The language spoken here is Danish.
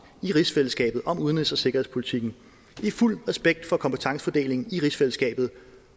i rigsfællesskabet om udenrigs og sikkerhedspolitikken i fuld respekt for kompetencefordelingen i rigsfællesskabet